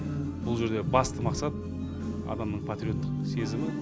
бұл жердегі басты мақсат адамның патриоттық сезімі